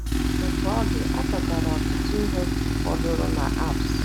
Otú ọ dị, a chọtara ọtụtụ ihe fọdụrụ na Alps